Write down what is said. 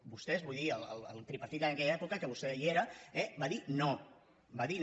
vostès vull dir el tripartit en aquella època que vostè hi era eh va dir no va dir no